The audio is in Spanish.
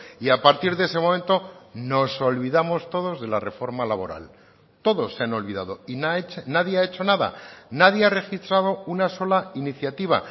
y a partir de ese momento nos olvidamos todos de la reforma laboral todos se han olvidado y nadie ha hecho nada nadie ha registrado una sola iniciativa